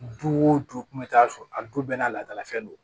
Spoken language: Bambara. Du o du kun bɛ taa so a du bɛɛ n'a ladala fɛn don